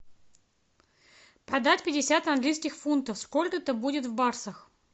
продать пятьдесят английских фунтов сколько это будет в баксах